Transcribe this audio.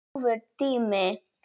Góður tími.